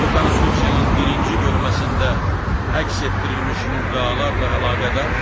Bu konstitusiyanın birinci bölməsində əks etdirilmiş müddalarla əlaqədar